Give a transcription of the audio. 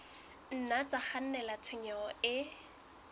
nna tsa kgannela tshenyong e